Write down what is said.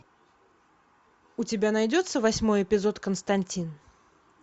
у тебя найдется восьмой эпизод константин